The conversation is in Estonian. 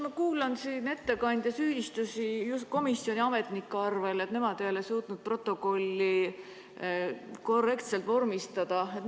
Ma kuulan siin ettekandja süüdistusi just komisjoni ametnike kohta, et nemad ei ole suutnud protokolli korrektselt vormistada.